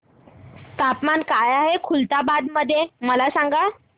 तापमान काय आहे खुलताबाद मध्ये मला सांगा